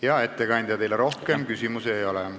Hea ettekandja, teile rohkem küsimusi ei ole.